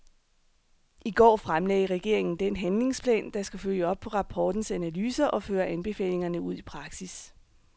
I går fremlagde regeringen den handlingsplan, der skal følge op på rapportens analyser og føre anbefalingerne ud i praksis.